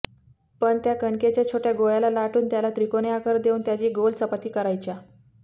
पण त्या कणकेच्या छोट्या गोळ्याला लाटुन त्याला त्रिकोणी आकार देऊन त्याची गोल चपाती करायच्या